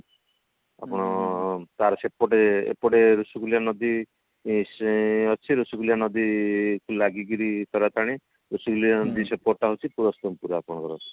ଆପଣ ତାର ସେପଟେ ଏପଟେ ଋଷିକୁଲ୍ୟା ନଦୀ ଏଁ ସେ ଅଛି ଋଷିକୁଲ୍ୟା ନଦୀ କୁ ଲାଗିକିରି ତାରାତାରିଣୀ ଋଷିକୁଲ୍ୟା ନଦୀ ସେପଟ ଟା ହଉଛି ପୁରସ୍ତମପୁର ଆପଣଙ୍କର